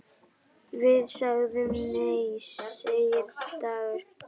Við sögðum nei, segir Dagur.